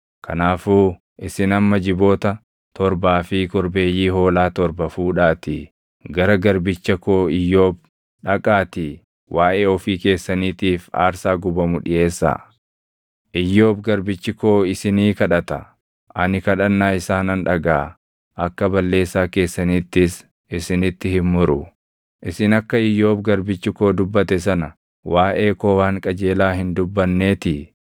Kanaafuu isin amma jiboota torbaa fi korbeeyyii hoolaa torba fuudhaatii gara garbicha koo Iyyoob dhaqaatii waaʼee ofii keessaniitiif aarsaa gubamu dhiʼeessaa. Iyyoob garbichi koo isinii kadhata; ani kadhannaa isaa nan dhagaʼa; akka balleessaa keessaniittis isinitti hin muru. Isin akka Iyyoob garbichi koo dubbate sana waaʼee koo waan qajeelaa hin dubbanneetii.”